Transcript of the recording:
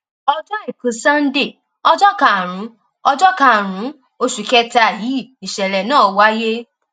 ọjọ àìkú sanńdé ọjọ karùnún ọjọ karùnún oṣù kẹta yìí nìṣẹlẹ náà wáyé